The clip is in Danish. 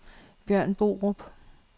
Bjørn Borup